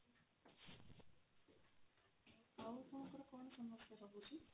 ଆଉ କଣ ଆପଣନଙ୍କ ସମସ୍ୟା ରହୁଛି?